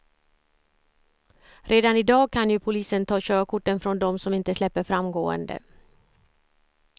Redan i dag kan ju polisen ta körkorten från dem som inte släpper fram gående.